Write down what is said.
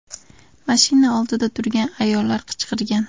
Mashina oldida turgan ayollar qichqirgan.